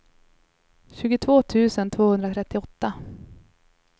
tjugotvå tusen tvåhundratrettioåtta